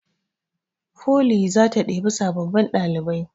Foli zata ɗebi sababbin ɗalibai